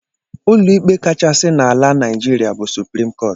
Ụlọikpe kachasị n'ala Naijiria bụ suprim kọọt